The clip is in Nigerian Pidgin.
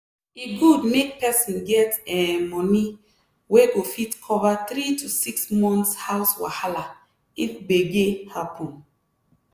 e good make person get um money wey go fit cover 3 to 6 months house wahala if gbege happen.